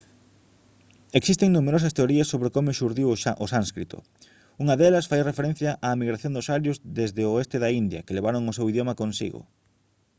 existen numerosas teorías sobre como xurdiu o sánscrito unha delas fai referencia á migración dos arios desde o oeste da india que levaron o seu idioma consigo